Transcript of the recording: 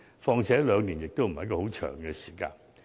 況且，兩年也不是很長的時間。